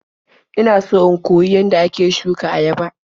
Ina so in koyi yadda ake shuka ayaba.